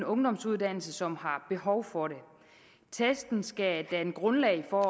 ungdomsuddannelse som har behov for det testen skal danne grundlag for at